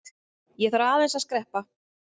Ég þarf aðeins að skreppa.